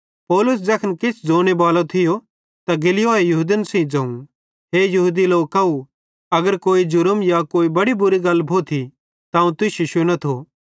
पौलुस ज़ैखन किछ ज़ोने बालो थियो त गल्लियोए यहूदन सेइं ज़ोवं हे यहूदी लोकव अगर केन्ची जुर्मेरी या कोई बड़ी बुरी गल भोथी त अवं तुश्शी शुनेथो